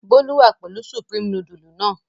Bólú wà pẹ̀lú Supreme nudule náà.